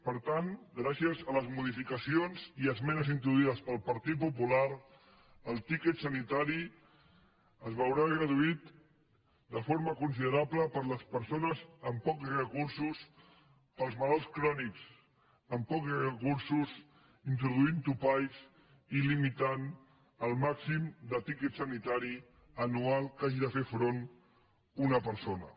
per tant gràcies a les modificacions i esmenes introduïdes pel partit popular el tiquet sanitari es veurà reduït de forma considerable per a les persones amb pocs recursos per als malalts crònics amb pocs recursos introduint topalls i limitant el màxim de tiquet sanitari anual a què hagi de fer front una persona